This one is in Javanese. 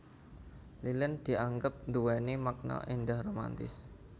Lilin dianggep nduwéni makna éndah romantis